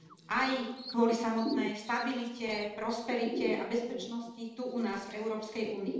Aj kvôli samotnej stabilite, prosperite a bezpečnosti tu u nás v EÚ.